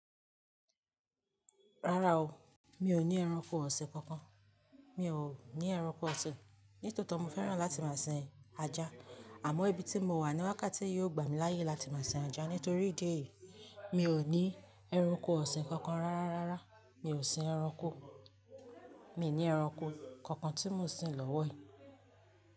Rárá o, mi ò ní ẹranko ọ̀sìn kankan. Mi ò ní ẹranko ọ̀sìn. Nítòótò mo fẹ́ràn láti máa sin ajá àmọ́ ibi tí mo wà ní wákàtí yìí ò gbà mí láyè láti máa sin ajá nítorí ìdí èyí mi ò ní ẹranko ọ̀sìn kankan rárá, rárá. Mi ò sin ẹranko, mi ní ẹranko kankan tí mò ń sin lọ́wọ́ yìí.